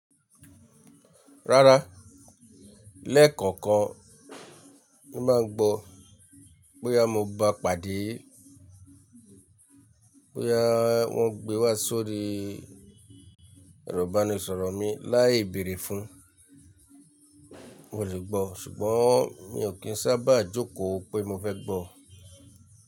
Rárá, lẹ́ẹ̀kọ̀kan mo máa ń gbọ́ bóyá mo bá pàdé, bóyá wọ́n gbé wá sórí erọ̀bánisọ̀rọ̀ mi láì bèrè fún. Mo lè gbọ́ ṣùgbọ́n mi ò kí ń sábà jókòó pé mo fẹ́ gbọ́.